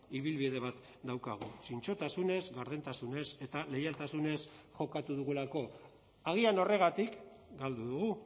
ibilbide bat daukagu zintzotasunez gardentasunez eta leialtasunez jokatu dugulako agian horregatik galdu dugu